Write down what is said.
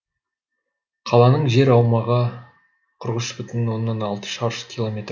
қаланың жер аумағы қырық ұш бүтін оннан алты шаршы километр